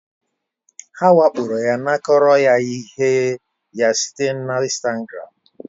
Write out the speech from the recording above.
Ha wakporoya, nakoro ya ihe ya site na Instagram